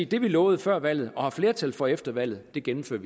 det man lovede før valget og fik flertal for efter valget gennemfører